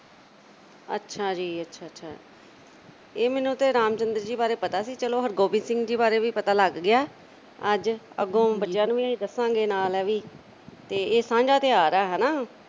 ਅੱਛਾ ਜੀ ਅੱਛਾ ਅੱਛਾ ਇਹ ਮੈਨੂੰ ਤਾਂ ਰਾਮ ਚੰਦਰ ਜੀ ਬਾਰੇ ਪਤਾ ਸੀ ਚੱਲੋ ਹਰਿਗੋਬਿੰਦ ਸਿੰਘ ਜੀ ਬਾਰੇ ਵੀ ਪਤਾ ਲੱਗ ਗਿਆ ਅੱਜ, ਅੱਗੋ ਬੱਚਿਆਂ ਨੂੰ ਵੀ ਇਹ ਦੱਸਾਂਗੇ ਨਾਲ ਇਹ ਵੀ ਤੇ ਇਹ ਸਾਂਝਾ ਤਿਉਹਾਰ ਆ ਹਨਾ।